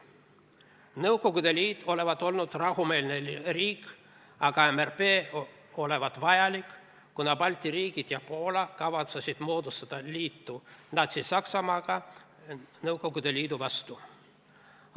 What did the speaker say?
Nõukogude Liit olevat olnud rahumeelne riik, aga MRP olevat olnud vajalik, kuna Balti riigid ja Poola kavatsesid moodustada liidu Natsi-Saksamaaga Nõukogude Liidu vastu.